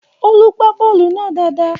Olú gbá bọ́ọ̀lù náà dáadáa